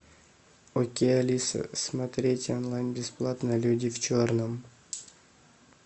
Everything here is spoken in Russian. окей алиса смотреть онлайн бесплатно люди в черном